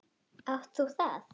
Átt þú það?